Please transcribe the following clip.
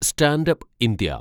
stand up India